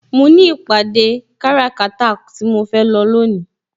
Mo ní ìpàdé kára kata tí mo fẹ́ lọ lónìí.